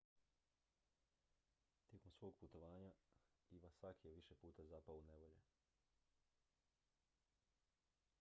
tijekom svog putovanja iwasaki je više puta zapao u nevolje